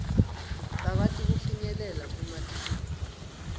bakwati kufinyelela kumatfuba